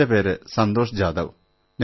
എന്റെ പേര് സന്തോഷ് ജാധവ് എന്നാണ്